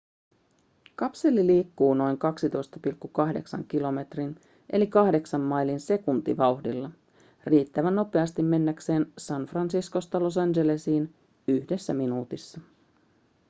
kapseli liikkuu noin 12,8 kilometrin eli 8 mailin sekuntivauhdilla riittävän nopeasti mennäkseen san franciscosta los angelesiin yhdessä minuutissa